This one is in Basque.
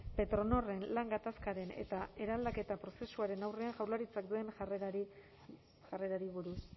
petronorren lan gatazkaren eta eraldaketa prozesuaren aurrean jaurlaritzak duen jarrerari buruz